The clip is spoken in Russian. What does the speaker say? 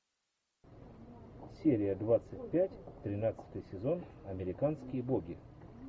серия двадцать пять тринадцатый сезон американские боги